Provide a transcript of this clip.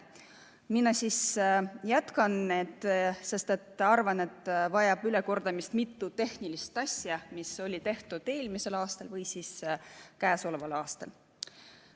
Mina siis jätkan, sest arvan, et ülekordamist vajab mitu tehnilist asja, mis on tehtud eelmisel või käesoleval aastal.